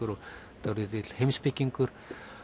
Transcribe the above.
og dálítill heimspekingur